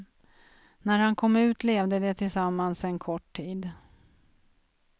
När han kom ut levde de tillsammans en kort tid.